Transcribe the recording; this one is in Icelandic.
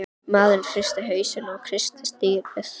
Maðurinn hristi hausinn og kreisti stýrið.